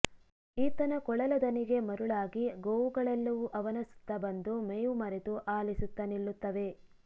ಈತನ ಕೊಳಲ ದನಿಗೆ ಮರುಳಾಗಿ ಗೋವುಗಳೆಲ್ಲವೂ ಅವನ ಸುತ್ತ ಬಂದು ಮೇವು ಮರೆತು ಆಲಿಸುತ್ತ ನಿಲ್ಲುತ್ತವೆ